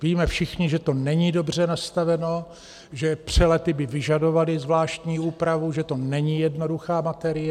Víme všichni, že to není dobře nastaveno, že přelety by vyžadovaly zvláštní úpravu, že to není jednoduchá materie.